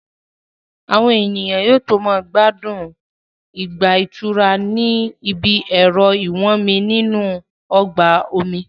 Àwọn ènìyàn yóò tó máa gbádùn ìgbà ìtura ní ibi ẹ̀rọ ìwọ́nmi nínú ọgbà omi